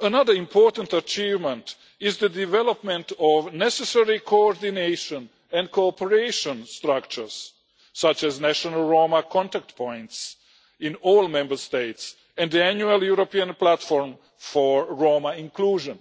Another important achievement is the development of necessary coordination and cooperation structures, such as national Roma contact points in all Member States and the annual European platform for Roma inclusion.